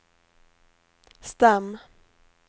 stam